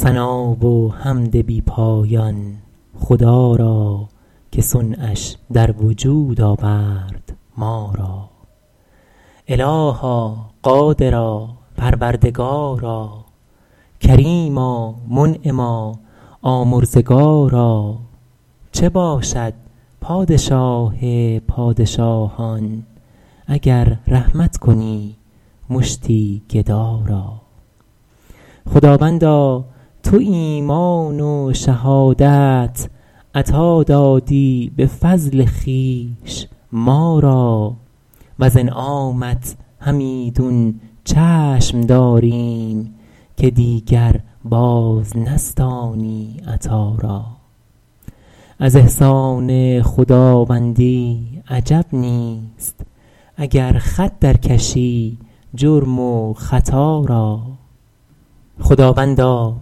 ثنا و حمد بی پایان خدا را که صنعش در وجود آورد ما را الها قادرا پروردگارا کریما منعما آمرزگارا چه باشد پادشاه پادشاهان اگر رحمت کنی مشتی گدا را خداوندا تو ایمان و شهادت عطا دادی به فضل خویش ما را وز انعامت همیدون چشم داریم که دیگر باز نستانی عطا را از احسان خداوندی عجب نیست اگر خط در کشی جرم و خطا را خداوندا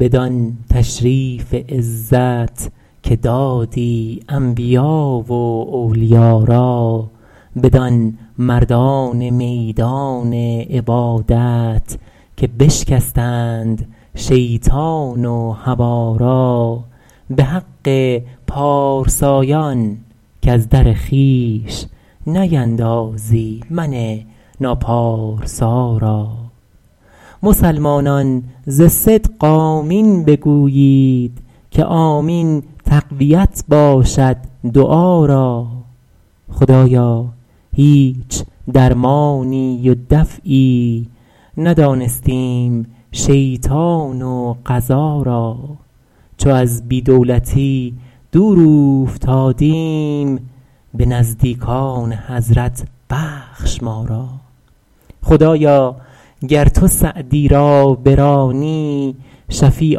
بدان تشریف عزت که دادی انبیا و اولیا را بدان مردان میدان عبادت که بشکستند شیطان و هوا را به حق پارسایان کز در خویش نیندازی من ناپارسا را مسلمانان ز صدق آمین بگویید که آمین تقویت باشد دعا را خدایا هیچ درمانی و دفعی ندانستیم شیطان و قضا را چو از بی دولتی دور اوفتادیم به نزدیکان حضرت بخش ما را خدایا گر تو سعدی را برانی شفیع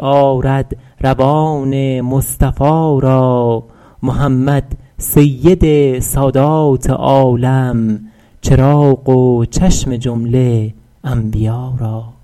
آرد روان مصطفی را محمد سید سادات عالم چراغ و چشم جمله انبیا را